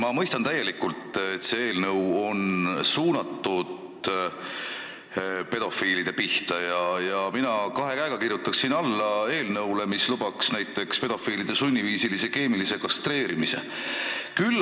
Ma mõistan täielikult, et see eelnõu on suunatud pedofiilide pihta, ja mina kirjutaksin kahe käega alla eelnõule, mis lubaks pedofiilide sunniviisilise keemilise kastreerimise.